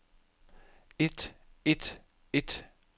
et et et